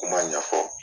Kuma ɲɛfɔ